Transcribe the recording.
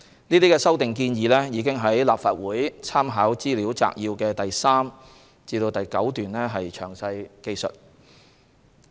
這些修訂建議已於立法會參考資料摘要的第3至9段詳述。